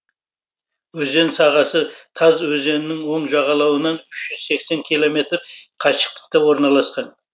өзен сағасы таз өзенінің оң жағалауынан үш жүз сексен километр қашықтықта орналасқан